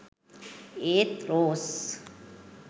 ඒත් රෝස්